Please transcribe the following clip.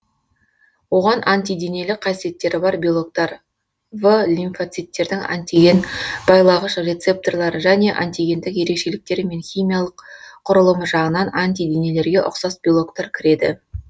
оған антиденелік қасиеттері бар белоктар в лимфоциттердің антиген байлағыш рецепторлары және антигендік ерекшеліктері мен химиялық құрылымы жағынан антиденелерге ұқсас белоктар кіреді